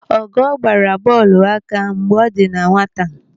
Ọgọọ gbara bọọlụ aka mgbe ọ dị na nwata.